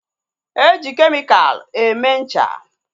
E ji kemikalụ eme ncha